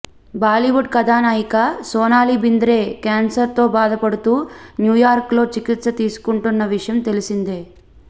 బాలీవుడ్ కథానాయిక సోనాలి బింద్రే కేన్సర్తో బాధపడుతూ న్యూయార్క్లో చికిత్స తీసుకుంటున్న విషయం తెలిసిందే